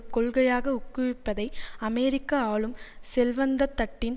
கொள்கையாக உக்குவிப்பதை அமெரிக்க ஆளும் செல்வந்தத்தட்டின்